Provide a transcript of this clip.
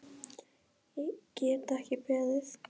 Get ekki beðið.